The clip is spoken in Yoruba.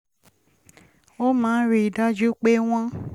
wọ́n máa ń daju pe won